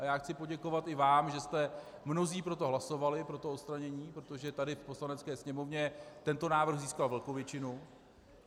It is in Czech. A já chci poděkovat i vám, že jste mnozí pro to hlasovali, pro to odstranění, protože tady v Poslanecké sněmovně tento návrh získal velkou většinu.